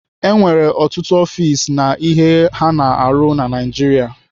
E nwere ọtụtụ ọfis na ihe ha na-arụ na Naijiria.